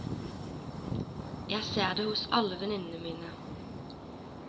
Jeg ser det hos alle venninnene mine.